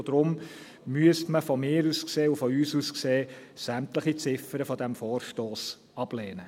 Deshalb müsste man, meiner und unserer Ansicht nach, sämtliche Ziffern dieses Vorstosses ablehnen.